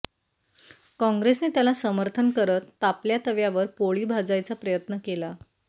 काँग्रेसने त्याला समर्थन करत तापल्या तव्यावर पोळी भाजायचा प्रयत्न केला